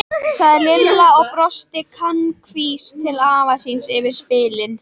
sagði Lilla og brosti kankvís til afa síns yfir spilin.